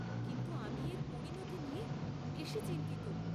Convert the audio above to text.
কিন্তু আমি এর পরিণতি নিয়ে বেশি চিন্তিত।